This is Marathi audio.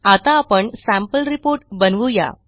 आता आपण सॅम्पल रिपोर्ट बनवू या